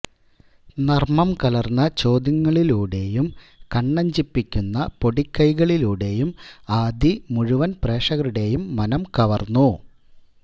നർമ്മം കലർന്ന ചോദ്യങ്ങളിലൂടെയും കണ്ണഞ്ചിപ്പിക്കുന്ന പൊടിക്കൈകളിലൂടെയും ആദി മുഴുവൻ പ്രേക്ഷകരുടെയും മനം കവർന്നു